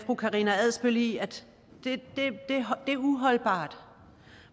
fru karina adsbøl i at det er uholdbart